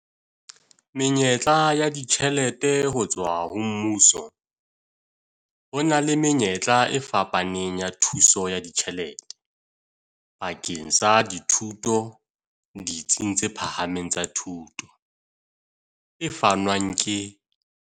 Menyetla ya ditjhelete ho tswa ho mmuso Ho na le menyetla e fapaneng ya thuso ya ditjhelete bakeng sa dithuto ditsing tse phahameng tsa thuto, e fanwang ke.